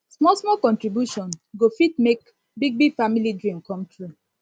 smallsmall contribution go fit make big big family dream come true